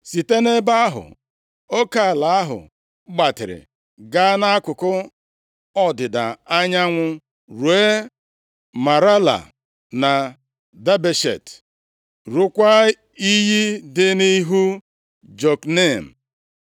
Site nʼebe ahụ, oke ala ahụ gbatịrị gaa nʼakụkụ ọdịda anyanwụ, ruo Marala na Dabeshet, rukwaa iyi dị nʼihu Jokneam.